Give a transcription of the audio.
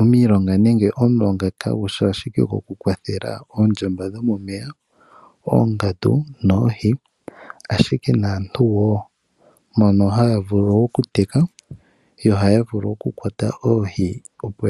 Omilonga/omulonga kagushi ashike okukwathela oondjamba dhomomeya, oongandu noohi, ashike naantu wo mbono haa vulu okuteka nohaya vulu okukwata oohi